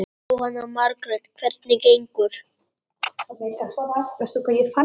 Jóhanna Margrét: Hvernig gengur?